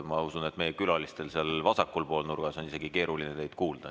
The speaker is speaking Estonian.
Ma usun, et meie külalistel seal vasakul pool nurgas on keeruline teid kuulda.